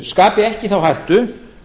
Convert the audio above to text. skapi ekki þá hættu